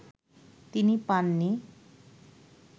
তিনি পাননি